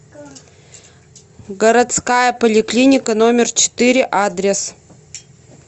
городская поликлиника номер четыре адрес